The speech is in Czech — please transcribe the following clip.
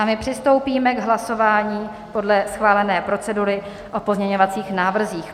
A my přistoupíme k hlasování podle schválené procedury o pozměňovacích návrzích.